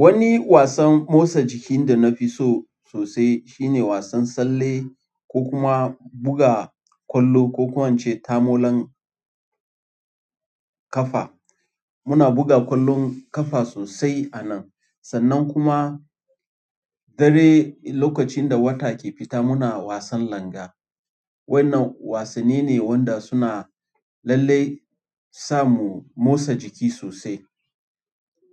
Wani wasan motsa jiki da na fi so sosai shine wasan tsalle ko kuma buga ƙwallo, ko kuwa ince tamolon ƙafa. Muna buga ƙwallon ƙafa sosai a nan, sannan kuma dare lokacin da wata ke fita muna wasan langa. Waɗannan wasanni ne waɗanda suna lallai sa mu motsa jiki sosai.